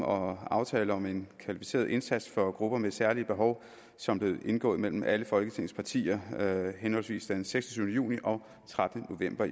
og aftale om en kvalificeret indsats for grupper med særlige behov som blev indgået mellem alle folketingets partier henholdsvis den seksogtyvende juni og trettende november